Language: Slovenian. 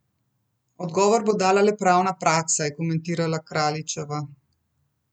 Odgovor bo dala le pravna praksa, je komentirala Kraljićeva.